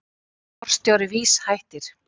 Forstjóri VÍS hættir